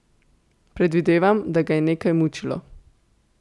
Predvidevam, da ga je nekaj mučilo?